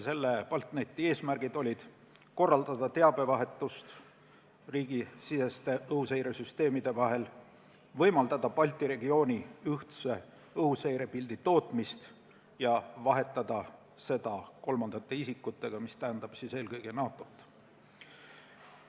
Selle eesmärk oli korraldada teabevahetust riigisiseste õhuseiresüsteemide vahel, võimaldada Balti regiooni ühtse õhuseirepildi tootmist ja vahetada seda kolmandate isikutega, eelkõige NATO-ga.